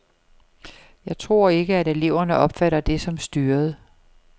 Jeg tror ikke, at eleverne opfatter det som styret.